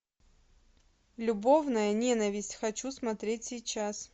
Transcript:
любовная ненависть хочу смотреть сейчас